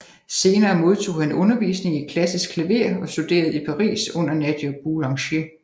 Senere modtog han undervisning i klassisk klaver og studerede i Paris under Nadia Boulanger